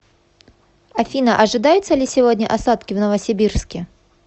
афина ожидаются ли сегодня осадки в новосибирске